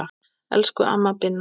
Elsku amma Binna.